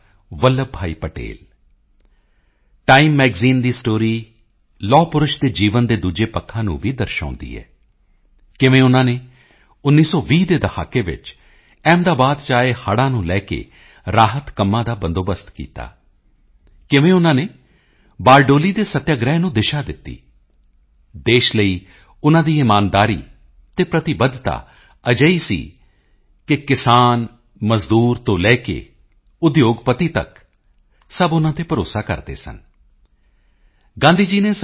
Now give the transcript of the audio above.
Vallabh Bhai Patel Time magazine ਦੀ story ਲੋਹਪੁਰਸ਼ ਦੇ ਜੀਵਨ ਦੇ ਦੂਜੇ ਪੱਖਾਂ ਨੂੰ ਵੀ ਦਰਸਾਉਦੀ ਹੈ ਕਿਵੇਂ ਉਨ੍ਹਾਂ ਨੇ 1920 ਦੇ ਦਹਾਕੇ ਵਿੱਚ ਅਹਿਮਦਾਬਾਦ ਚ ਆਏ ਹੜ੍ਹਾਂ ਨੂੰ ਲੈਕੇ ਰਾਹਤ ਕੰਮਾਂ ਦਾ ਬੰਦੋਬਸਤ ਕੀਤਾ ਕਿਵੇਂ ਉਨ੍ਹਾਂ ਨੇ ਬਾਰਡੋਲੀ ਦੇ ਸੱਤਿਆਗ੍ਰਹਿ ਨੂੰ ਦਿਸ਼ਾ ਦਿੱਤੀ ਦੇਸ਼ ਲਈ ਉਨ੍ਹਾਂ ਦੀ ਇਮਾਨਦਾਰੀ ਅਤੇ ਪ੍ਰਤੀਬੱਧਤਾ ਅਜਿਹੀ ਸੀ ਕਿ ਕਿਸਾਨ ਮਜ਼ਦੂਰ ਤੋਂ ਲੈਕੇ ਉਦਯੋਗਪਤੀ ਤੱਕ ਸਭ ਉਨ੍ਹਾਂ ਤੇ ਭਰੋਸਾ ਕਰਦੇ ਸਨ ਗਾਂਧੀ ਜੀ ਨੇ ਸ